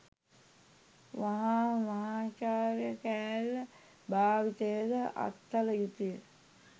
වහාම මහාචාර්ය කෑල්ල භාවිතය ද අත්හළ යුතුය